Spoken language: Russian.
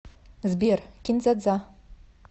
сбер кин дза дза